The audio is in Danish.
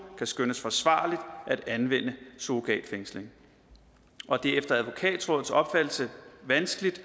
kan skønnes forsvarligt at anvende surrogatfængsling og det er efter advokatrådets opfattelse vanskeligt